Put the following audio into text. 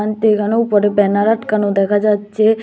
এখানে উপরে ব্যানার আটকানো দেখা যাচ্ছে।